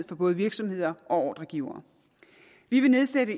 for både virksomheder og ordregivere vi vil nedsætte